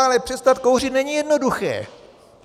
Ale přestat kouřit není jednoduché.